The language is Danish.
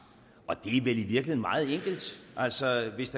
og det er vel i virkeligheden meget enkelt altså hvis